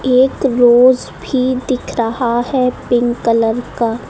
एक रोज भी दिख रहा है पिंक कलर का।